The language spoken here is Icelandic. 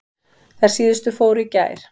Þær síðustu fóru í gær.